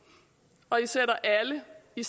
vi